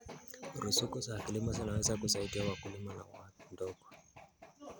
Ruzuku za kilimo zinaweza kusaidia wakulima wa ndogo.